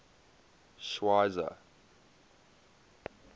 schweizer